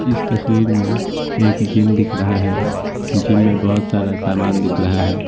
इस तस्वीर में एक जिम दिख रहा है जिम में बहुत सारा सामान दिख रहा है।